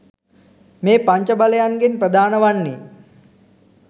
මේ පංච බලයන්ගෙන් ප්‍රධාන වන්නේ